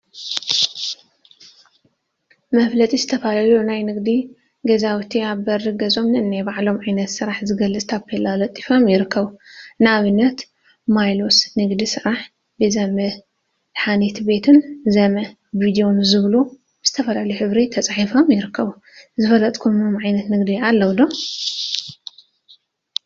መፋለጢ ዝተፈላለዩ ናይ ንግዲ ገዛውቲ አብ በሪ ገዝኦም ነናይ ባዕሎም ዓይነት ስራሕ ዝገልፅ ታፔላ ለጢፎም ይርከቡ፡፡ ንአብነት ሜሎስ ንግዲ ስራሕ፣ ቤዛ መደሓኒት ቤትን ዘመ ቪድዮን ዝብሉ ብዝተፈላለዩ ሕብሪ ተፃሒፎም ይርከቡ፡፡ ዘፋለጥክምዎ ዓይነት ንግዲ አለው ዶ?